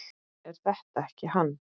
Er þetta ekki hann